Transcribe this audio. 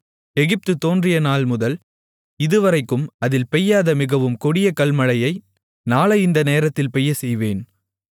எகிப்து தோன்றிய நாள்முதல் இதுவரைக்கும் அதில் பெய்யாத மிகவும் கொடிய கல்மழையை நாளை இந்த நேரத்தில் பெய்யச்செய்வேன்